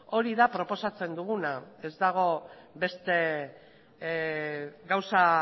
hori da proposatzen duguna ez dago beste gauza